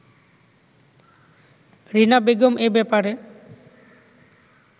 রীনা বেগম এ ব্যাপারে